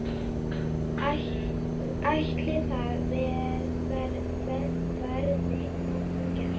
Ætli það verði nokkuð gert?